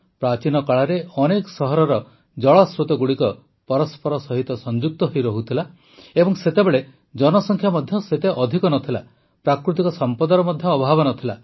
ପ୍ରାଚୀନ କାଳରେ ଅନେକ ସହରର ଜଳସ୍ରୋତଗୁଡ଼ିକ ପରସ୍ପର ସହିତ ସଂଯୁକ୍ତ ହୋଇ ରହୁଥିଲା ଏବଂ ସେତେବେଳେ ଜନସଂଖ୍ୟା ମଧ୍ୟ ସେତେ ଅଧିକ ନ ଥିଲା ପ୍ରାକୃତିକ ସମ୍ପଦର ମଧ୍ୟ ଅଭାବ ନ ଥିଲା